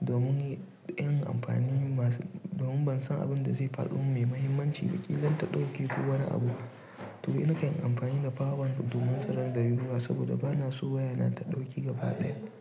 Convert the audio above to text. domin yin amfani masu, domin ban san abin da zai faɗo mai mahimmanci ba baki kilan ta ɗauke ko wani abu. To in nakan yi amfani da power bank domin tsirar da yunwa saboda bana so wayana ta ɗauke gaba ɗaya.